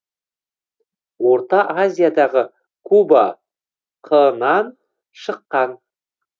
орта азиядағы куба қ нан шыққан